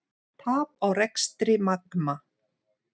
Tap á rekstri Magma